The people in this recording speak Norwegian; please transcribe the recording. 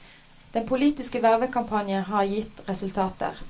Den politiske vervekampanjen har gitt resultater.